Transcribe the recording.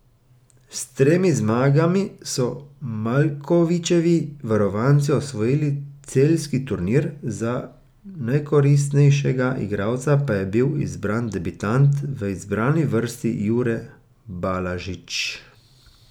S tremi zmagami so Maljkovićevi varovanci osvojili celjski turnir, za najkoristnejšega igralca pa je bil izbran debitant v izbrani vrsti Jure Balažič.